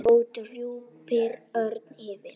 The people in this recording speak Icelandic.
og drúpir örn yfir.